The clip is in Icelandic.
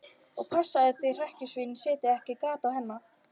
Og passaðu þig að hrekkjusvínin setji ekki gat á hana.